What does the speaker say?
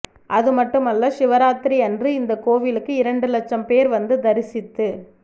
அதுமட்டுமல்ல சிவராத்திரியன்று இந்த கோயிலுக்கு இரண்டு லட்சம் பேர் வந்து தரிசித்துச்